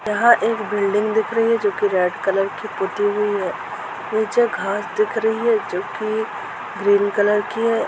यहा एक बिल्डिग दिख रही है जो कि रेड कलर की पुती हुई है निचे घास दिख रही है जो कि ग्रीन कलर की है।